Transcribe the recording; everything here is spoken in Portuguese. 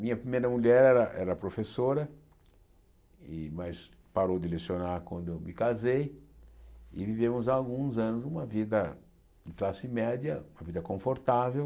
Minha primeira mulher era era professora de, mas parou de lecionar quando eu me casei e vivemos há alguns anos uma vida de classe média, uma vida confortável,